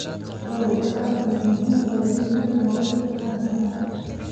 Dalaggu aad bay muhiim ugu yihiin nolosha aadanaha.